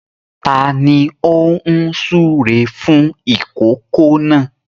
Ta ni ó ń súre fún ìkòkò náà?